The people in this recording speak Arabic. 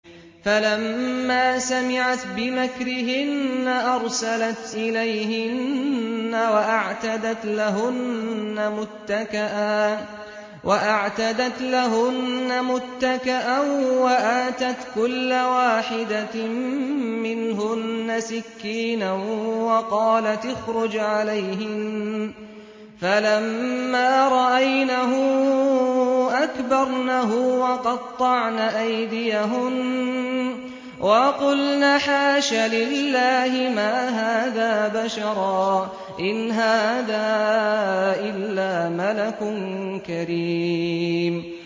فَلَمَّا سَمِعَتْ بِمَكْرِهِنَّ أَرْسَلَتْ إِلَيْهِنَّ وَأَعْتَدَتْ لَهُنَّ مُتَّكَأً وَآتَتْ كُلَّ وَاحِدَةٍ مِّنْهُنَّ سِكِّينًا وَقَالَتِ اخْرُجْ عَلَيْهِنَّ ۖ فَلَمَّا رَأَيْنَهُ أَكْبَرْنَهُ وَقَطَّعْنَ أَيْدِيَهُنَّ وَقُلْنَ حَاشَ لِلَّهِ مَا هَٰذَا بَشَرًا إِنْ هَٰذَا إِلَّا مَلَكٌ كَرِيمٌ